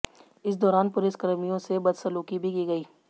इस दौरान पुलिसकर्मियों से बदसलूकी भी की गयी